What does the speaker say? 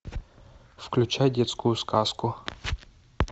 включай детскую сказку